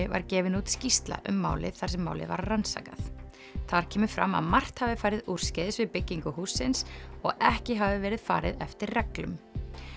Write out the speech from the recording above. var gefin út skýrsla um málið þar sem málið var rannsakað þar kemur fram að margt hafi farið úrskeiðis við byggingu hússins og ekki hafi verið farið eftir reglum